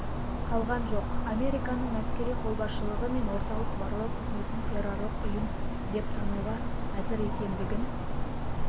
қалған жоқ американың әскери қолбасшылығы мен орталық барлау қызметін террорлық ұйым деп тануға әзір екендігін